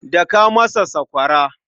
Daka masa sakwara.